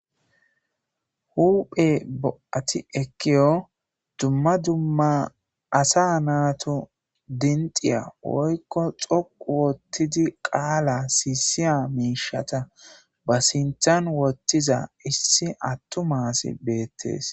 Huphe bo'ati ekkiyo dumma dumma asa naatu dimxiya woykko xoqu ottidi qaala siisiya miishata ba sinthan wottiza issi attuma asi beettees.